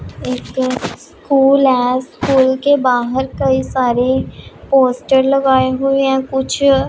एक स्कूल है स्कूल के बाहर कई सारे पोस्टर लगाए हुए हैं कुछ--